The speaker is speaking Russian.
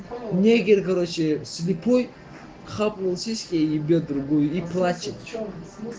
негер идёт короче слепой хапнул сиськи ебет другую и плачет